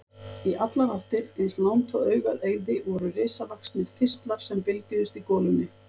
Í allar áttir, eins langt og augað eygði, voru risavaxnir þistlar sem bylgjuðust í golunni.